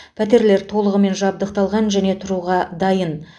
пәтерлер толығымен жабдықталған және тұруға дайын